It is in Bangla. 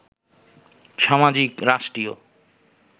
সামাজিক, রাষ্ট্রীয়